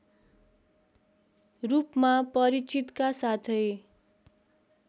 रूपमा परिचितका साथै